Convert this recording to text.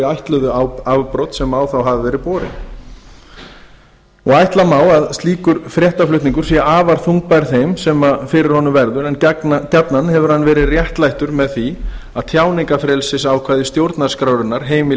ætluðu afbrot sem á þá hafa verið borin ætla má að slíkur fréttaflutningur sé afar þungbær þeim sem fyrir honum verður en gjarnan hefur hann verið réttlættur með því að tjáningarfrelsisákvæði stjórnarskrárinnar heimili